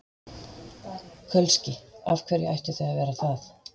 Kölski: Af hverju ættu þau að vera það?